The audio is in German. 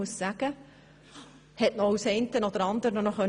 Sie konnte noch das eine oder andere dazulernen.